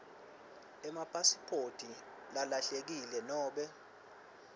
ipasiphoti lelahlekile nobe